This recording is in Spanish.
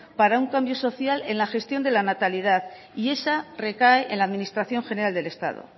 para un cambio social en la gestión de la natalidad y esa recae en la administración general del estado